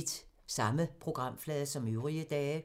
Samme programflade som øvrige dage